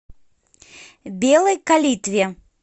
белой калитве